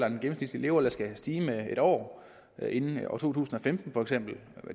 at den gennemsnitlige levealder skal stige med en år inden to tusind og femten for eksempel